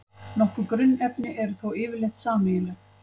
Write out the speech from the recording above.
Nokkur grunnefni eru þó yfirleitt sameiginleg.